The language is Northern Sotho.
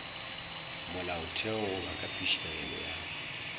molaotheo goba ka phišegelo ya